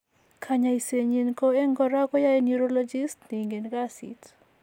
Konyoisenyin ko en kora koyae neurologists ne ingen kasit.